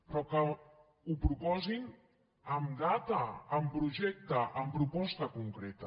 però que ho proposin amb data amb projecte amb proposta concreta